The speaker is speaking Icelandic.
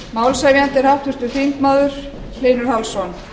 málshefjandi er háttvirtur þingmaður hlynur hallsson